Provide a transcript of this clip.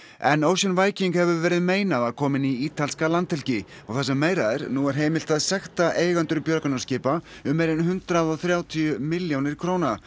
en Ocean Viking hefur verið meinað að koma inn í ítalska landhelgi og það sem meira er nú er heimilt að sekta eigendur björgunarskipa um meira en hundrað og þrjátíu milljónir króna